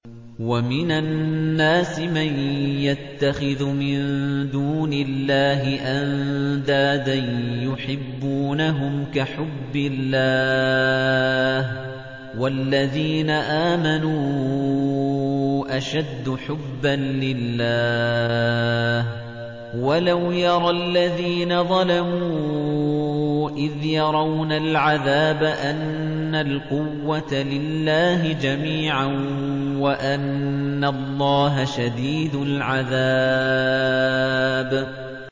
وَمِنَ النَّاسِ مَن يَتَّخِذُ مِن دُونِ اللَّهِ أَندَادًا يُحِبُّونَهُمْ كَحُبِّ اللَّهِ ۖ وَالَّذِينَ آمَنُوا أَشَدُّ حُبًّا لِّلَّهِ ۗ وَلَوْ يَرَى الَّذِينَ ظَلَمُوا إِذْ يَرَوْنَ الْعَذَابَ أَنَّ الْقُوَّةَ لِلَّهِ جَمِيعًا وَأَنَّ اللَّهَ شَدِيدُ الْعَذَابِ